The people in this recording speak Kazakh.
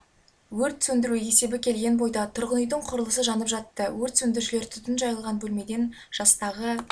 өрт сөндіру есебі келген бойда тұрғын үйдің құрылысы жанып жатты өрт сөндірушілер түтін жайылған бөлмеден жастағы